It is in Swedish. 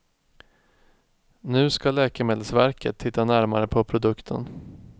Nu ska läkemedelsverket titta närmare på produkten.